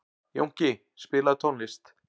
Jónki, spilaðu tónlist.